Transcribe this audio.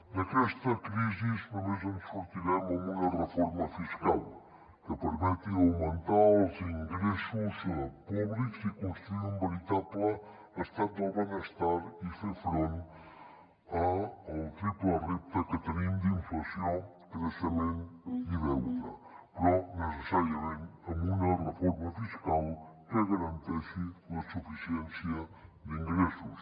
d’aquesta crisi només en sortirem amb una reforma fiscal que permeti augmentar els ingressos públics i construir un veritable estat del benestar i fer front al triple repte que tenim d’inflació creixement i deute però necessàriament amb una reforma fiscal que garanteixi la suficiència d’ingressos